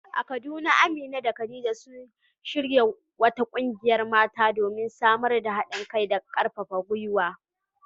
A Kaduna, Amina da Khadija sun shirya wata kungiyar mata, domin samar da hadin kai da karfafa gwiwa.